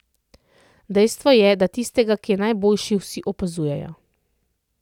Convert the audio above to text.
Dejstvo je, da tistega, ki je najboljši, vsi opazujejo.